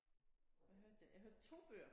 Hvad hørte jeg jeg hørte 2 bøger